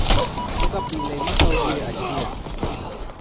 Kaka pile, ma kawo dwe achiel